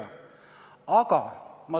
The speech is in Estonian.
Rohkem läbirääkimiste soovi ei ole.